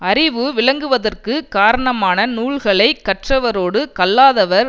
அறிவு விளங்குவதற்குக் காரணமான நூல்களை கற்றவரோடுக் கல்லாதவர்